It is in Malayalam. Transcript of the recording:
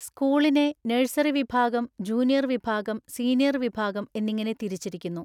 സ്കൂളിനെ നഴ്സറി വിഭാഗം, ജൂനിയർ വിഭാഗം, സീനിയർ വിഭാഗം എന്നിങ്ങനെ തിരിച്ചിരിക്കുന്നു.